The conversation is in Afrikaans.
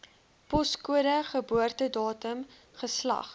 poskode geboortedatum geslag